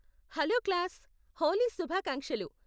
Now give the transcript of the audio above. Hello class, Holi శుభాకాంక్షలు.